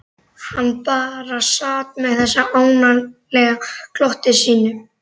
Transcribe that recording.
Hann bara sat með þessu ánalega glotti sínu.